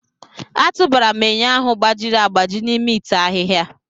A tụbara m enyo ahụ gbajiri agbaji n'ime ite ahịhịa.